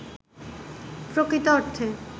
প্রকৃত অর্থে